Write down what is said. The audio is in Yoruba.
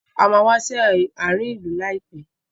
A máa wá sí àárín ìlú láìpẹ́.